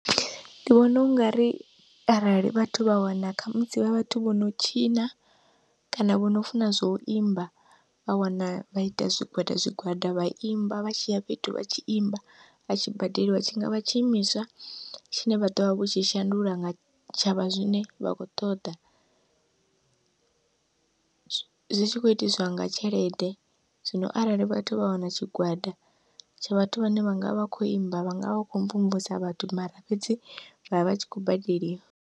Ndi vhona ungari arali vhathu vha wana khamusi vha vhathu vho no tshina kana vho no funa zwa u imba vha wana vha ita zwigwada zwigwada vha imba, vha tshiya fhethu vha tshi imba vha tshi badeliwa tshingavha tshiimiswa tshine vha ḓovha vho tshi shandula nga tshavha zwine vha kho ṱoḓa, zwi tshi kho itiswa nga tshelede. Zwino arali vhathu vha wana tshigwada tsha vhathu vhane vha ngavha vha kho imba, vhanga vha vha kho mvumvusa vhathu mara fhedzi vha vha vha tshi khou badeliwa.